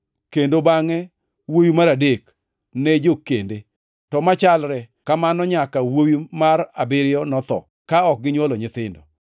kendo bangʼe wuowi mar adek ne jokende, to machalre kamano nyaka wuowi mar abiriyo notho, ma ok ginywolo nyithindo.